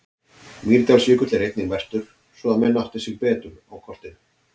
Mýrdalsjökull er einnig merktur svo að menn átti sig betur á kortinu.